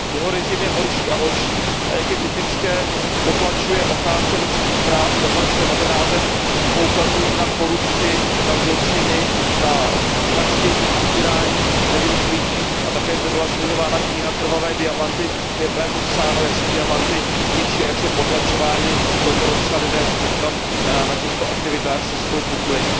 Jeho režim je horší a horší a jak je typické, potlačuje ochránce lidských práv, potlačuje novináře, kteří poukazují na korupci, na zločiny, na vraždění a týrání nevinných lidí. A také zde byla zmiňována kniha Krvavé diamanty, kde je právě popsáno, jak se diamanty těží a jak jsou potlačováni domorodci a lidé, kteří se tam na těchto aktivitách spolupodílejí.